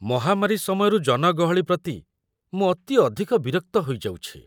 ମହାମାରୀ ସମୟରୁ ଜନଗହଳି ପ୍ରତି ମୁଁ ଅତି ଅଧିକ ବିରକ୍ତ ହୋଇଯାଉଛି